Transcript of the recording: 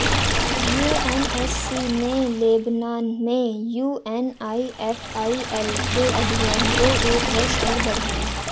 UNSC ने Lebanon में UNIFIL के अभियान को एक वर्ष और बढ़ाया